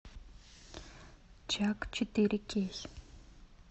чак четыре кей